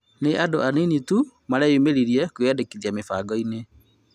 Nĩ andũ anini tu mareyũmĩririe kwĩyandĩkithia mĩbangoinĩ